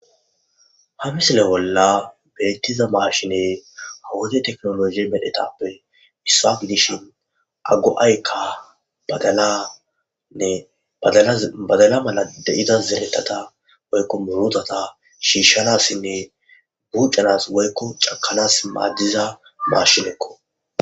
Ha misile bolla betiza mashiney ha wode tekinoloje mishappe issa gidishn badalanne badala mala de'za murutata shiishanasinne cakanasi woyko bucanasi madiza mashineko.